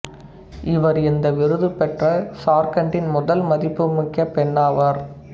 இவர் இந்த விருதுப் பெற்ற சார்கண்டின் முதல் மதிப்பு மிக்க பெண்ணாவார்